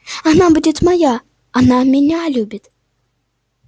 она будет моя она меня любит